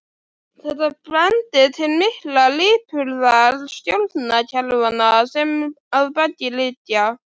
Þetta bendir til mikillar lipurðar stjórnkerfanna sem að baki liggja.